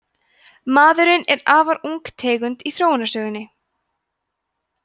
maðurinn er afar ung tegund í þróunarsögunni